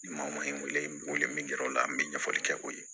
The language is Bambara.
Maa ma n wele min kɛra o la n bɛ ɲɛfɔli kɛ o ye